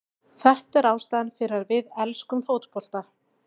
Þetta er ástæðan fyrir að við elskum fótbolta.